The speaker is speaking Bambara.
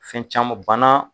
Fɛn caman banna